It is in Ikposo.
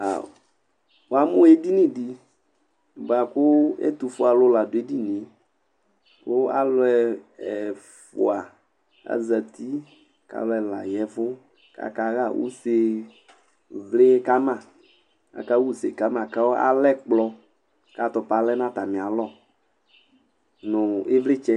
Wamʋ edini di bʋakʋ ɛtʋfue ni la dʋ edinie kʋ alʋ ɛfʋa zati kʋ alʋ ɛla ya ɛvʋ kʋ akaxa ʋse kama kʋ alɛ ɛkplɔ kʋ atʋpa lɛnʋ atami alɔ nʋ ivlitsɛ